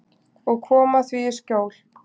Og koma því í skjól.